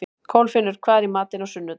Kolfinnur, hvað er í matinn á sunnudaginn?